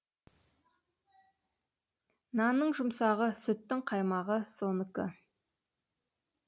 нанның жұмсағы сүттің қаймағы соныкі